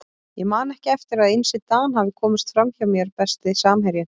Ég man ekki eftir að Einsi Dan hafi komist fram hjá mér Besti samherjinn?